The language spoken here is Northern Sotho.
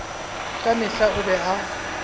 ka mehla o be a